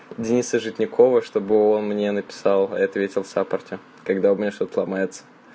дениса житникова чтобы он мне написал я ответил саппорте когда у меня что-то ломается